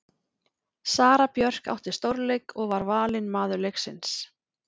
Sara Björk átti stórleik og var valin maður leiksins.